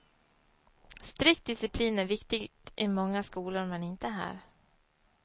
Strikt disciplin är viktigt i många skolor, men inte här.